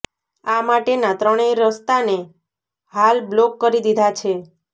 આ માટેના ત્રણેય રસ્તાને હાલ બ્લોક કરી દીધા છે